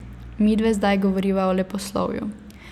Midve zdaj govoriva o leposlovju.